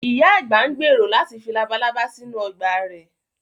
Ìyá àgbà ń gbèrò láti fi labalábá sínú ọgbà rẹ̀